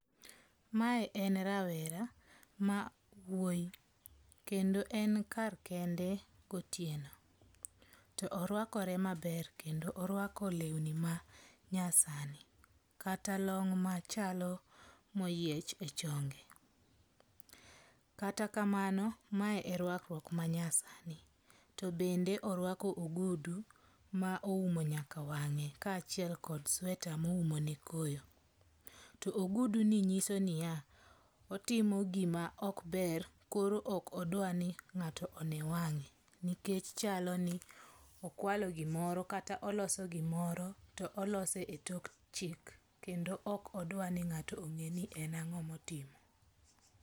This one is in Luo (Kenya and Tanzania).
Mae en rawere mawuoyi kendo en karkende gotieno to orwakore maber kendo orwako lewni manyasani kata long machalo moyiech e chonge. Kata kamano mae e rwakruok manyasani to bende oruako ogudu ma oumo nyaka wang'e kaachiel kod sweta moumone koyo. To ogudu ni nyiso niya, otimo gima okber koro ok odwa ni ng'ato one wang'e, nikech chalo ni okwalo gimoro kata oloso gimoro to olose e tok chik kendo ok odwa ni ng'ato ong'e ni en ang'o motimo.